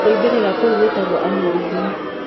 Kuumbĩrĩra kũu gwĩtagwo aneurysm.